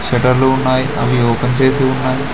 షట్టర్లు ఉన్నాయి అవి ఓపెన్ చేసి ఉన్నాయి.